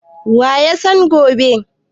Wa ya san gobe?